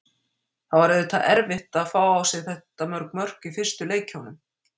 Það var auðvitað erfitt að fá á sig þetta mörg mörk í fyrstu leikjunum.